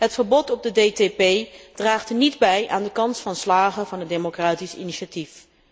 Het verbod op de DTP draagt niet bij aan de kans van slagen van het democratisch initiatief.